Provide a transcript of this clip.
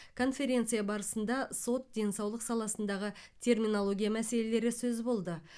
конференция барысында сот денсаулық саласындағы терминология мәселелері сөз болды